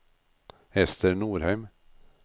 Ester Norheim